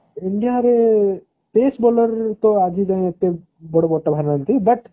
india ରେ best bowler ଆଜି ଯାଏ ଏତେ ନାହାନ୍ତି but